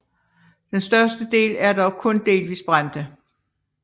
Den største del er dog kun delvis brændte